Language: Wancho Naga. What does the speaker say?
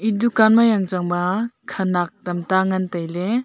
e dunkan ma yangcha ba khanak tam ta ngan tailey.